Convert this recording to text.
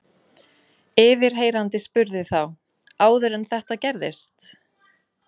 Yfirheyrandi spurði þá: Áður en þetta gerðist?